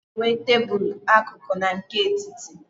A na -enwe tebulu akụkụ na nke etiti.